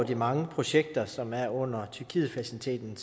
de mange projekter som der er under tyrkietfaciliteten